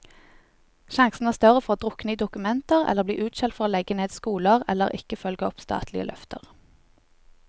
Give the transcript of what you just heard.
Sjansene er større for å drukne i dokumenter eller bli utskjelt for å legge ned skoler, eller ikke følge opp statlige løfter.